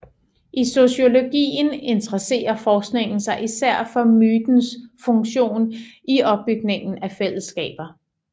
I sociologien interesserer forskningen sig især for mytens funktion i opbygningen af fællesskaber